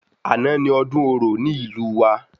Àná ni ọdún orò ní ìlú wa